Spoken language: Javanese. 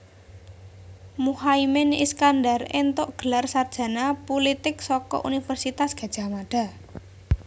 Muhaimin Iskandar éntuk gelar sarjana pulitik saka Universitas Gadjah Mada